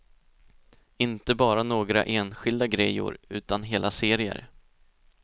Inte bara några enskilda grejor utan hela serier.